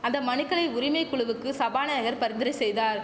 அந்த மனுக்களை உரிமை குழுவுக்கு சபாநாயகர் பரிந்துரை செய்தார்